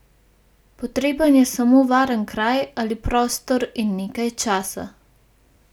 Potreben je samo varen kraj ali prostor in nekaj časa.